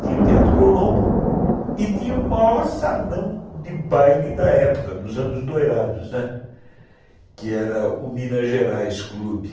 tinha o Teatro Colombo e tinha o maior salão de baile da época, dos anos doirados, né, que era o Minas Gerais Clube.